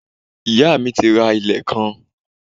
Iyá mi ti ra ilẹ̀ kan